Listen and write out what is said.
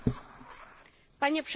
Panie przewodniczący!